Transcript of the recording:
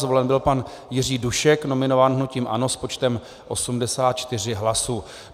Zvolen byl pan Jiří Dušek, nominován hnutím ANO, s počtem 84 hlasů.